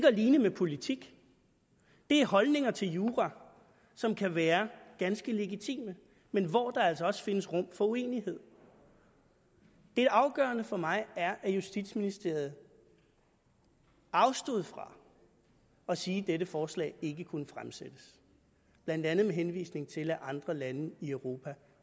at ligne med politik det er holdninger til jura som kan være ganske legitime men hvor der altså også findes rum for uenighed det afgørende for mig er at justitsministeriet afstod fra at sige at dette forslag ikke kunne fremsættes blandt andet med henvisning til at andre lande i europa